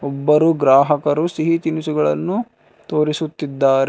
ಒಬ್ಬರು ಗ್ರಾಹಕರು ಸಿಹಿ ತಿನಿಸುಗಳನ್ನು ತೋರಿಸುತ್ತಿದ್ದಾರೆ.